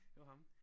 Det var ham?